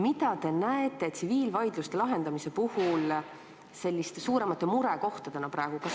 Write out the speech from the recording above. Mida te näete tsiviilvaidluste lahendamise puhul selliste suuremate murekohtadena praegu?